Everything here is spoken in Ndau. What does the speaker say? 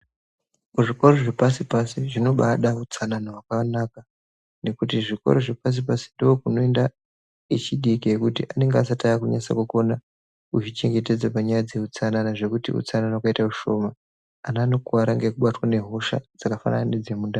Kuzvikoro zvepasi-pasi zvinobaada utsanana hwakanaka nekuti zvikoro zvepasi-pasi ndookunoenda echidiki ekuti anenge asati aakunyatsa kukona kuzvichengetedza panyaya dzeutsanana zvekuti utsanana ukaita ushoma ana anokuwara ngekubatwa nehosha dzakafanana nedzemundani.